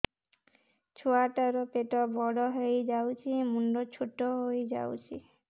ଛୁଆ ଟା ର ପେଟ ବଡ ହେଇଯାଉଛି ମୁଣ୍ଡ ଛୋଟ ହେଇଯାଉଛି